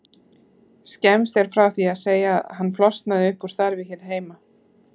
Skemmst er frá því að segja að hann flosnaði upp úr starfi hér heima.